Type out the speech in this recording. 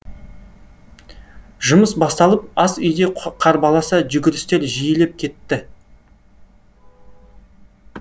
жұмыс басталып ас үйде қарбаласа жүгірістер жиілеп кетті